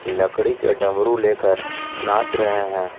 लकड़ी के डमरु लेकर नाच रहे हैं।